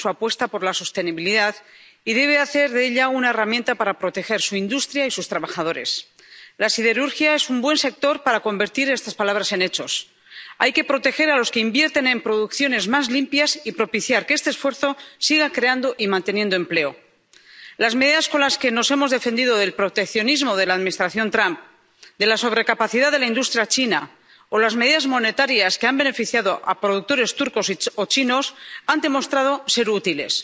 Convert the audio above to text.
Señor presidente, la Unión tiene que seguir profundizando en su apuesta por la sostenibilidad y debe hacer de ella una herramienta para proteger su industria y a sus trabajadores. La siderurgia es un buen sector para convertir estas palabras en hechos. Hay que proteger a los que invierten en producciones más limpias y propiciar que este esfuerzo siga creando y manteniendo empleo. Las medidas con las que nos hemos defendido del proteccionismo de la Administración Trump o de la sobrecapacidad de la industria china o las medidas monetarias que han beneficiado a productores turcos o chinos han demostrado ser útiles.